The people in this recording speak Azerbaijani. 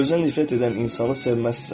Özünə nifrət edən insanı sevməzsən.